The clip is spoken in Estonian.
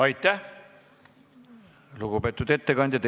Aitäh, lugupeetud ettekandja!